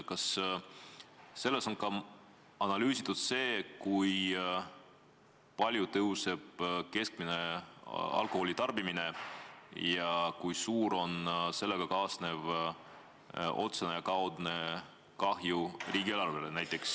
Kas on analüüsitud ka seda, kui palju kasvab keskmine alkoholitarbimine ja kui suur on sellega kaasnev otsene või kaudne kahju riigieelarvele?